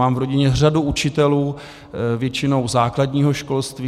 Mám v rodině řadu učitelů, většinou základního školství.